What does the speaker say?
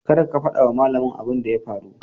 Kar ka fada wa malamin abun da ya faru.